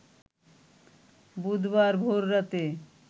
বুধবার ভোর রাতে